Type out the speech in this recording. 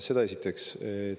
Seda esiteks.